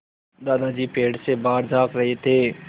दादाजी पेड़ से बाहर झाँक रहे थे